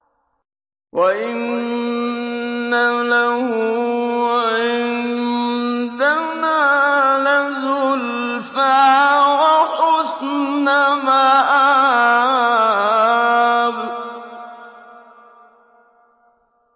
وَإِنَّ لَهُ عِندَنَا لَزُلْفَىٰ وَحُسْنَ مَآبٍ